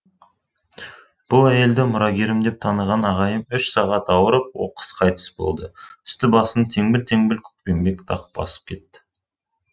бұл әйелді мұрагерім деп таныған ағайым үш сағат ауырып оқыс қайтыс болды үсті басын теңбіл теңбіл көкпеңбек дақ басып кетті